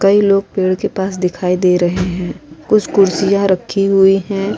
कई लोग पेड़ के पास दिखाई दे रहे है। कुछ कुर्सियां रखी हुई है।